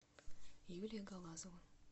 юлия галазова